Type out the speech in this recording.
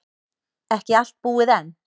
Ekki allt búið enn.